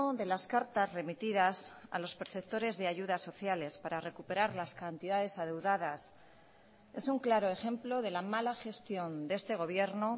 de las cartas remitidas a los perceptores de ayudas sociales para recuperar las cantidades adeudadas es un claro ejemplo de la mala gestión de este gobierno